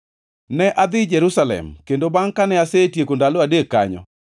Ne adhi Jerusalem, kendo bangʼ kane asetieko ndalo adek kanyo,